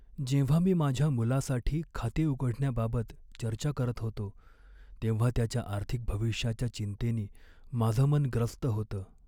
जेव्हा मी माझ्या मुलासाठी खाते उघडण्याबाबत चर्चा करत होतो, तेव्हा त्याच्या आर्थिक भविष्याच्या चिंतेनी माझं मन ग्रस्त होतं.